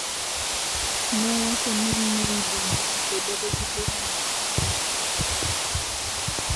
nowacho ni May bende osebedo gi bura mapiyo.